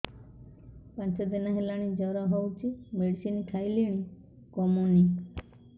ପାଞ୍ଚ ଦିନ ହେଲାଣି ଜର ହଉଚି ମେଡିସିନ ଖାଇଲିଣି କମୁନି